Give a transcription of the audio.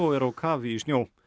er á kafi í snjó